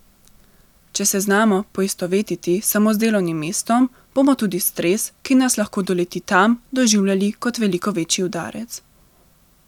Če se znamo poistovetiti samo z delovnim mestom, bomo tudi stres, ki nas lahko doleti tam, doživljali kot veliko večji udarec.